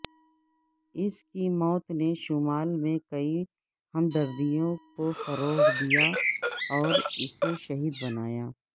اس کی موت نے شمال میں کئی ہمدردیوں کو فروغ دیا اور اسے شہید بنایا